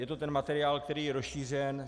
Je to ten materiál, který je rozšířen.